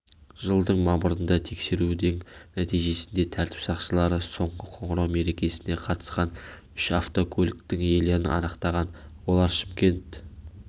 жылдың мамырында тексерудің нәтижесінде тәртіп сақшылары соңғы қоңырау мерекесіне қатысқан үш автокөліктің иелерін анықтаған олар шымкент